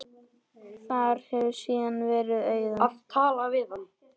Þar hefur síðan verið auðn.